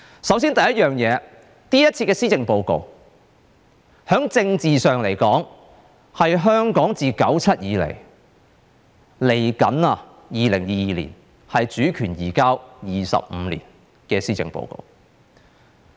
首先，今次的施政報告，在政治上是香港自1997年以來，到即將來臨的2022年，主權移交25年的施政報告。